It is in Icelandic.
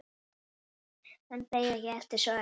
En beið ekki eftir svari.